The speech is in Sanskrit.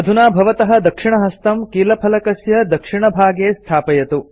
अधुना भवतः दक्षिणहस्तं कीलफलकस्य दक्षिणभागे स्थापयतु